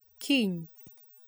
Kiny